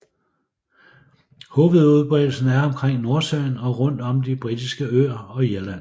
Hovedudbredelsen er omkring Nordsøen og rundt om de Britiske øer og Irland